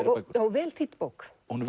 vel þýdd bók hún